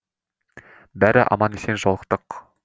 бәрі аман есен жолықтық